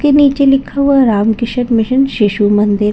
के नीचे लिखा हुआ रामकृष्ण मिशन शिशु मंदिर--